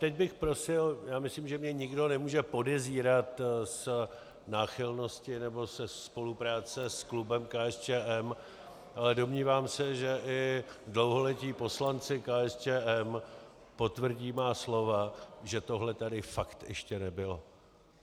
Teď bych prosil, já myslím, že mě nikdo nemůže podezírat z náchylnosti nebo ze spolupráce s klubem KSČM, ale domnívám se, že i dlouholetí poslanci KSČM potvrdí má slova, že tohle tady fakt ještě nebylo.